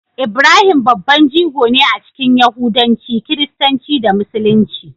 Ibrahim babban jigo ne a cikin Yahudanci, Kiristanci, da Musulunci.